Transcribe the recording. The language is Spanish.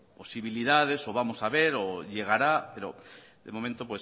posibilidades o vamos a ver o llegará pero de momento